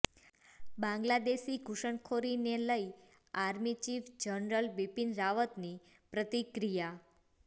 બાંગ્લાદેશી ઘુષણખોરીને લઇ army chief general Bipin રાવતની પ્રતિક્રિયા